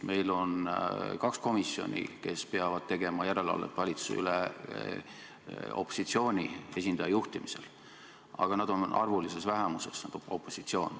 Meil on kaks komisjoni, kes peavad tegema järelevalvet valitsuse üle opositsiooni esindaja juhtimisel, aga opositsioon on arvulises vähemuses.